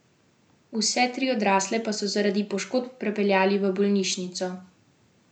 Vse tri odrasle pa so zaradi poškodb prepeljali v bolnišnico.